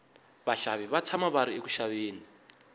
vaxavi va tshama va ri eku xaveni